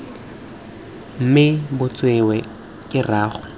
mme bo tsewe ke rraagwe